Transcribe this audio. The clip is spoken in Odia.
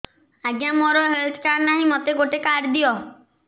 ଆଜ୍ଞା ମୋର ହେଲ୍ଥ କାର୍ଡ ନାହିଁ ମୋତେ ଗୋଟେ କାର୍ଡ ଦିଅ